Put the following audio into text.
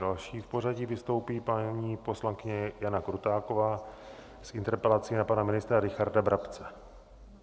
Další v pořadí vystoupí paní poslankyně Jana Krutáková s interpelací na pana ministra Richarda Brabce.